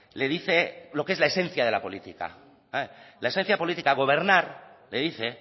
le dice lo que es la esencia de la política la esencia política gobernar le dice